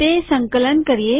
તે સંકલન કરીએ